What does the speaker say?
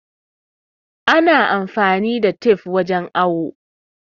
Ana amfani da tif wajen awo